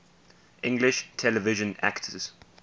english television actors